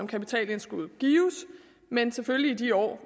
kapitalindskuddet gives men selvfølgelig i de år